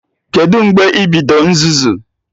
Kedụ mgbe ibido nzuzu?